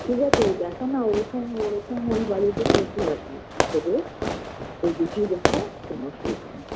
ঠিক আছে দেখো না ওরকম ওরকম ওই বাড়িতে প্রচুর আছে একটু খোঁজো ওই দিকেই দেখো কোনো অসুবিধা নেই